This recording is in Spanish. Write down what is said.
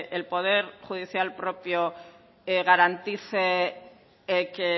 el poder judicial propio garantice que